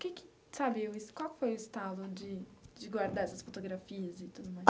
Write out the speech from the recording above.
Que que sabe o es qual foi o estalo de de guardar essas fotografias, e tudo mais?